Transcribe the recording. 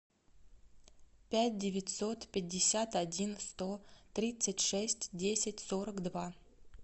пять девятьсот пятьдесят один сто тридцать шесть десять сорок два